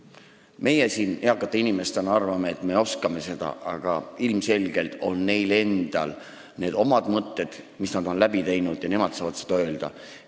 Meie siin eakate inimestena arvame, et me oskame ka seda, aga ilmselgelt on neil omad mõtted, mis nad on läbi teinud, ja nad saavad neid ise välja öelda.